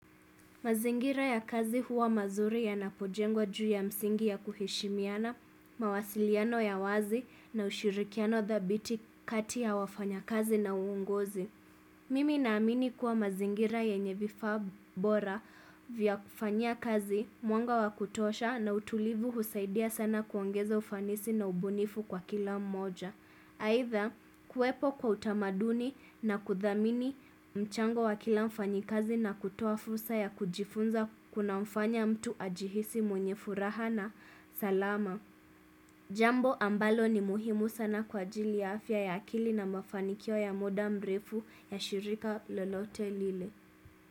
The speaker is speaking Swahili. Mazingira ya kazi huwa mazuri yanapojengwa juu ya msingi ya kuheshimiana, mawasiliano ya wazi na ushirikiano dhabiti kati ya wafanya kazi na uongozi. Mimi naamini kuwa mazingira yenye vifaa bora vya kufanya kazi, mwanga wa kutosha na utulivu husaidia sana kuongeza ufanisi na ubunifu kwa kila mmoja. Haidha kuwepo kwa utamaduni na kudhamini mchango wa kila mfanyikazi na kutoa fursa ya kujifunza kuna mfanya mtu ajihisi mwenye furaha na salama. Jambo ambalo ni muhimu sana kwa ajili ya afya ya akili na mafanikio ya muda mrefu ya shirika lolote lile.